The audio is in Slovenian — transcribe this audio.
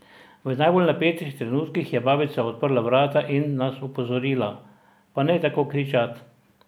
V najbolj napetih trenutkih je babica odprla vrata in nas opozorila: "Pa ne tako kričat!